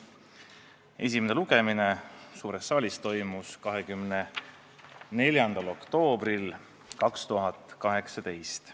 Esimene lugemine suures saalis toimus 24. oktoobril 2018.